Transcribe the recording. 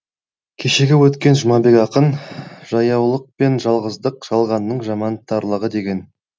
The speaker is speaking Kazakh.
кешегі өткен жұмабек ақын жаяулық пен жалғыздық жалғанның жаман тарлығы деген